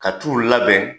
Ka t'u labɛn